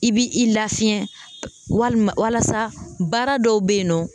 I b'i i lafiɲɛ walima walasa baara dɔw bɛ yen nɔ